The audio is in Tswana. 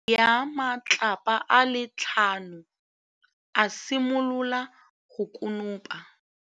Morwa wa gagwe o nopile kgobokanô ya matlapa a le tlhano, a simolola go konopa.